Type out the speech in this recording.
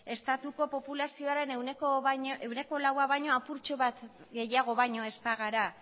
estatuko populazioaren ehuneko laua baino apurtxo bat baino gehiago ez bagara